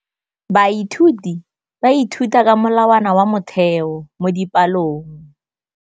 Baithuti ba ithuta ka molawana wa motheo mo dipalong.